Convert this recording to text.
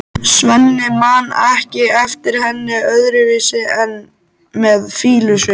Svenni man ekki eftir henni öðruvísi en með fýlusvip.